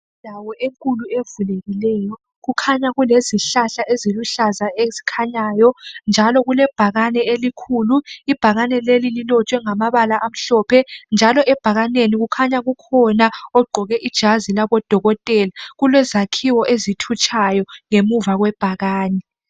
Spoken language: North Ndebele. Indawo enkulu evulekileyo kukhanya kulezihlahla eziluhlaza ezikhanyayo. Njalo kulebhakane elikhulu ibhakane leli llilotshiwe ngamabala amhlophe njalo ebhakaneni kukhanya kukhona ogqoke ijazi labodokotela kulezakhiwo ezithutshayo ngemuva kwebhakane.